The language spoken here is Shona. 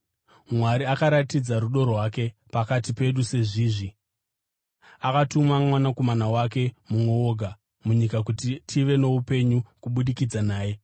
Mwari akaratidza rudo rwake pakati pedu sezvizvi: Akatuma Mwanakomana wake mumwe woga munyika kuti tive noupenyu kubudikidza naye.